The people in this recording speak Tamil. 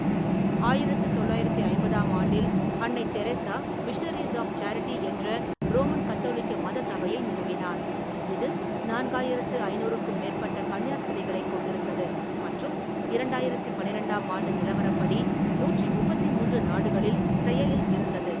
ஆயிரத்து தொள்ளாயிரத்து ஐம்பதாம் ஆண்டில், அன்னை தெரேசா மிஷனரீஸ் ஆஃப் சேரிட்டி என்ற ரோமன் கத்தோலிக்க மத சபையை நிறுவினார், இது நான்காயிரத்து ஐநூறுக்கும் மேற்பட்ட கன்னியாஸ்திரிகளைக் கொண்டிருந்தது மற்றும் இரண்டாயிரத்து பன்னிரெண்டாம் ஆண்டு நிலவரப்படி நூற்றி முப்பத்தி மூன்று நாடுகளில் செயலில் இருந்தது.